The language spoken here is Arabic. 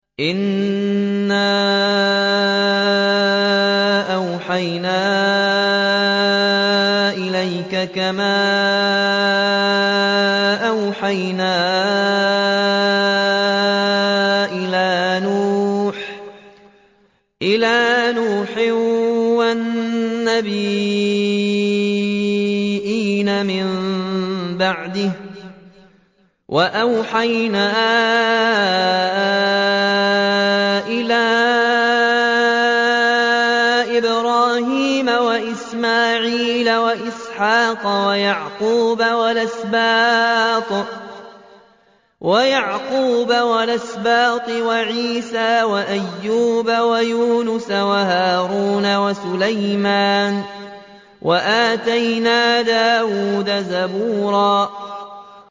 ۞ إِنَّا أَوْحَيْنَا إِلَيْكَ كَمَا أَوْحَيْنَا إِلَىٰ نُوحٍ وَالنَّبِيِّينَ مِن بَعْدِهِ ۚ وَأَوْحَيْنَا إِلَىٰ إِبْرَاهِيمَ وَإِسْمَاعِيلَ وَإِسْحَاقَ وَيَعْقُوبَ وَالْأَسْبَاطِ وَعِيسَىٰ وَأَيُّوبَ وَيُونُسَ وَهَارُونَ وَسُلَيْمَانَ ۚ وَآتَيْنَا دَاوُودَ زَبُورًا